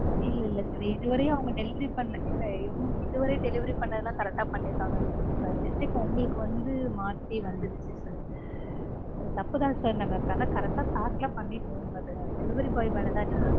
இல்ல இல்ல sir இதுவரையும் அவங்க delivery பண்ண இதுவர delivery பண்ணதெல்லாம் correct ஆ பண்ணிருகாங்க. by mistake உங்களுக்கு வந்து மாத்தி வந்திருச்சி sir தப்புதான் sir நாங்க ஆனா correct ஆ pack லாம் பண்ணிட்டோம் but delivery boy மேல தான் mistake